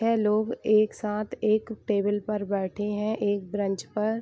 ये लोग एक साथ एक टेबल पर बैठे हैं एक बेंच पर --